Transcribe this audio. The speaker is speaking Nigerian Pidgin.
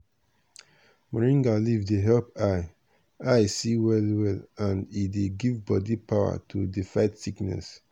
moringa leaf dey help eye eye see well well and e dey give bodi power to dey fight sickness.